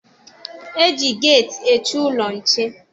E ji geeti eche ụlọ nche.